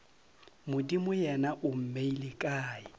modimo yena o mmeile kae